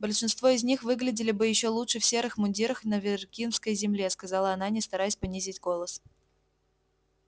большинство из них выглядели бы ещё лучше в серых мундирах на виргинской земле сказала она не стараясь понизить голос